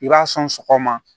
I b'a sɔn sɔgɔma